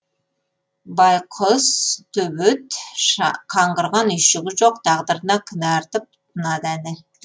байқұс төбет қаңғырған үйшігі жоқ тағдырына кінә артып тынады әні